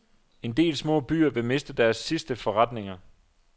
En del små byer vil miste deres sidste forretninger.